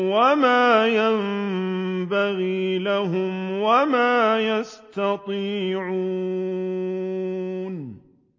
وَمَا يَنبَغِي لَهُمْ وَمَا يَسْتَطِيعُونَ